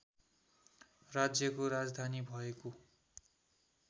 राज्यको राजधानी भएको